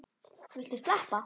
Viltu sleppa!